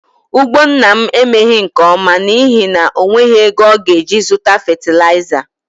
Ugbo nna m emeghị nke ọma n'ihi na o nweghị ego ọ ga-eji zụta fetilaịza